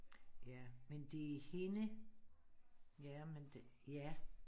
Ja men det hende ja men det ja